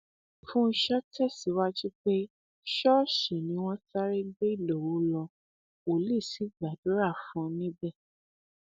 fúnshò tẹsíwájú pé ṣọọṣì ni wọn sáré gbé ìdòwú lọ wòlíì sì gbàdúrà fún un níbẹ